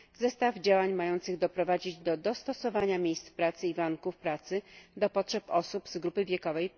zestaw działań mających doprowadzić do dostosowania miejsc pracy i warunków pracy do potrzeb osób z grupy wiekowej